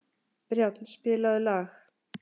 Brjánn, spilaðu lag.